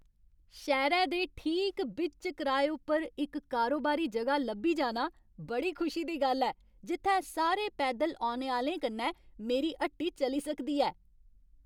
शैह्रै दे ठीक बिच्च कराए उप्पर इक कारोबारी जगह लब्भी जाना बड़ी खुशी दी गल्ल ऐ, जित्थै सारे पैदल औने आह्लें कन्नै मेरी हट्टी चली सकदी ऐ।